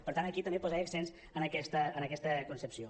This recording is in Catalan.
per tant aquí també posar accents en aquesta concepció